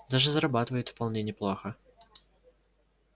даже зарабатывают вполне неплохо